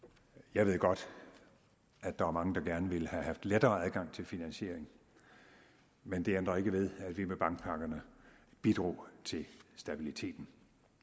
jeg ved godt at der er mange der gerne ville have haft lettere adgang til finansiering men det ændrer ikke ved at vi med bankpakkerne bidrog til stabiliteten